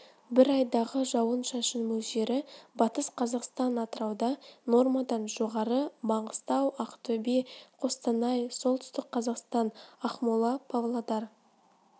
бір айдағы жауын-шашын мөлшері батыс қазақстан атырауда нормадан жоғары маңғыстау ақтөбе қостанай солтүстік қазақстан ақмола павлодар